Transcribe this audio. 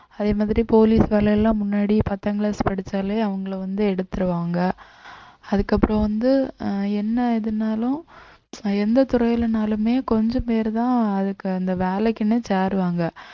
அதே மாதிரி police வேலையெல்லாம் முன்னாடி பத்தாங் class படிச்சாலே அவங்களை வந்து எடுத்துருவாங்க அதுக்கப்புறம் வந்து ஆஹ் என்ன இதுன்னாலும் எந்தத் துறையிலனாலுமே கொஞ்சம் பேருதான் அதுக்கு அந்த வேலைக்குன்னே சேருவங்க